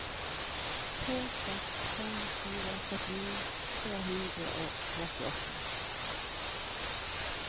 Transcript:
to seks fem fire førtini tre hundre og trettiåtte